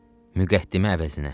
Müqəddimə əvəzinə.